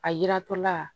A yiratɔla